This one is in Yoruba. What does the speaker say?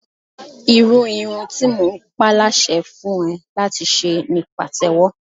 Irú irun tí mo ń pa láṣẹ fún ẹ láti ṣe ni Pàtẹ́wọ́.